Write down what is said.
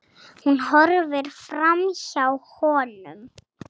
Hún horfir framhjá honum.